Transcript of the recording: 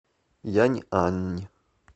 яньань